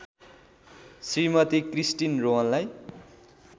Shrimati Christine रोहनलाई